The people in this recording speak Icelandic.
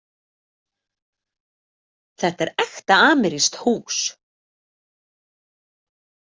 Þetta er ekta amerískt hús.